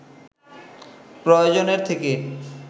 প্রয়োজনের থেকে